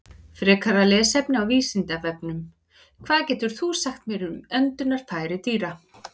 Frekara lesefni á Vísindavefnum: Hvað getur þú sagt mér um öndunarfæri dýra?